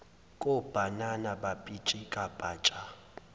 kobhanana bapitshika patsha